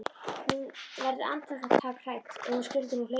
Hún verður andartak hrædd: Ef hann skyldi nú hlaupa.